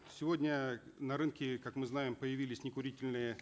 сегодня на рынке как мы знаем появились некурительные